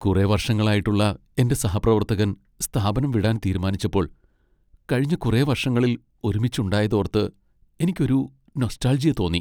കുറെ വർഷങ്ങളായിട്ടുള്ള എന്റെ സഹപ്രവർത്തകൻ സ്ഥാപനം വിടാൻ തീരുമാനിച്ചപ്പോൾ കഴിഞ്ഞ കുറെ വർഷങ്ങളിൽ ഒരുമിച്ച് ഉണ്ടായത് ഓർത്ത് എനിക്ക് ഒരു നൊസ്റ്റാൾജിയ തോന്നി .